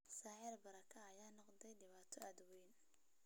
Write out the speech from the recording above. Sicir bararka ayaa noqday dhibaato wayn.